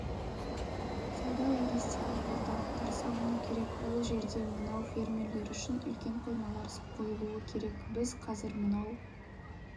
сауда-логистикалық орталықтар салыну керек ол жерде мынау фермерлер үшін үлкен қоймалар қойылу керек біз қазір мынау